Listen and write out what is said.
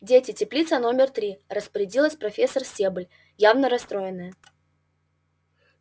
дети теплица номер три распорядилась профессор стебль явно расстроенная